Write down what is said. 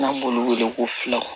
N'an b'olu wele ko filaw